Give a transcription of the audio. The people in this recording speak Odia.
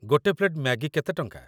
ଗୋଟେ ପ୍ଳେଟ୍ ମ୍ୟାଗି କେତେ ଟଙ୍କା?